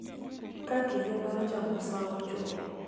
Ka kinde mar chamo sawo ochopo,